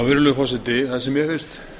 virðulegur forseti það sem mér finnst